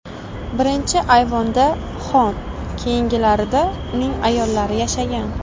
Birinchi ayvonda xon, keyingilarida uning ayollari yashagan.